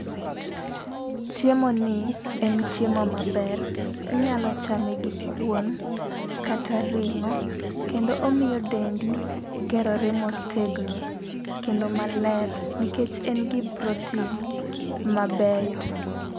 chiemo ni en chiemo maber ,inyalo chame gi kuon kata ringo kendo omiyo dendi gerore motegno kendo maler nikech en gi protien mabeyo